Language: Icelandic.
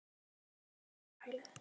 Í þetta sinn er það geðveikrahælið.